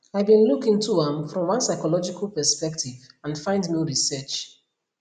i bin look into am from one psychological perspective and find no research